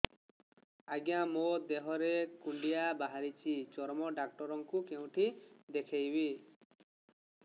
ଆଜ୍ଞା ମୋ ଦେହ ରେ କୁଣ୍ଡିଆ ବାହାରିଛି ଚର୍ମ ଡାକ୍ତର ଙ୍କୁ କେଉଁଠି ଦେଖେଇମି